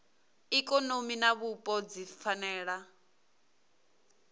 ikonomi na vhupo dzi fanela